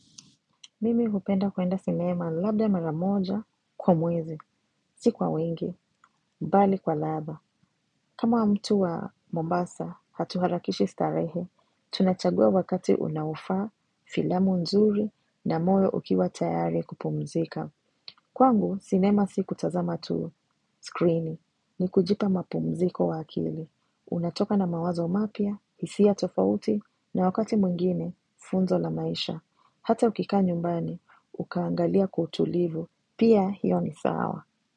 Mimi hupenda kuenda cinema labda maramoja kwa mwezi, si kwa wengi, mbali kwa ladha. Kama wa mtu wa Mombasa, hatuharakishi starehe, tunachagua wakati unaufa filamu nzuri na moyo ukiwa tayari kupumzika. Kwangu, cinema si kutazama tu screen ni kujipa mapumziko wa akili. Unatoka na mawazo mapia, isi ya tofauti, na wakati mwingine, funzo la maisha. Hata ukika nyumbani, ukaangalia kutulivu. Pia hiyo ni sawa.